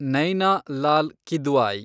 Naina Lal Kidwai